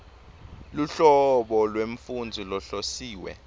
luhlobo lwemfundzi lohlosiwe